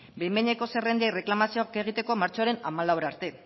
behin behineko zerrendei erreklamazioak egiteko martxoaren hamalau arte